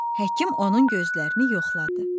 Həkim onun gözlərini yoxladı.